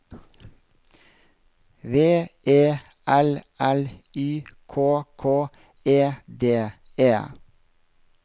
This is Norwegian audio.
V E L L Y K K E D E